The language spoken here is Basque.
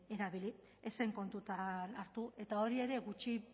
erabili ez zen kontutan hartu eta hori ere gutxi